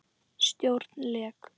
Stjórn LEK